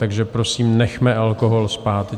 Takže prosím, nechme alkohol spát.